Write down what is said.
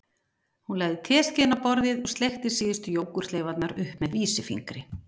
Hún lagði teskeiðina á borðið og sleikti síðustu jógúrtleifarnar upp með vísifingri